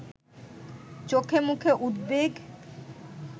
চোখে মুখে উদ্বেগ